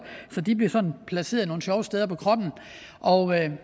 så de bliver sådan placeret nogle sjove steder på kroppen og